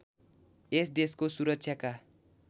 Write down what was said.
यस देशको सुरक्षाका